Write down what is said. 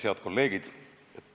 Head kolleegid!